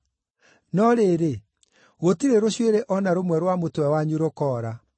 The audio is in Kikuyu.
No rĩrĩ, gũtirĩ rũcuĩrĩ o na rũmwe rwa mũtwe wanyu rũkoora.